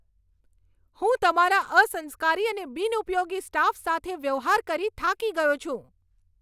હું તમારા અસંસ્કારી અને બિનઉપયોગી સ્ટાફ સાથે વ્યવહાર કરી થાકી ગયો છું.